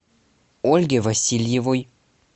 ольге васильевой